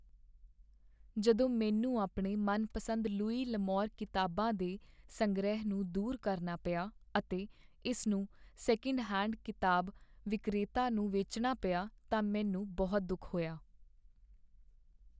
ਜਦੋਂ ਮੈਨੂੰ ਆਪਣੇ ਮਨਪਸੰਦ ਲੁਈ ਲ'ਅਮੌਰ ਕਿਤਾਬਾਂ ਦੇ ਸੰਗ੍ਰਹਿ ਨੂੰ ਦੂਰ ਕਰਨਾ ਪਿਆ ਅਤੇ ਇਸਨੂੰ ਸੈਕੀੰਡ ਹੈਂਡ ਕਿਤਾਬ ਵਿਕਰੇਤਾ ਨੂੰ ਵੇਚਣਾ ਪਿਆ ਤਾਂ ਮੈਨੂੰ ਬਹੁਤ ਦੁੱਖ ਹੋਇਆ।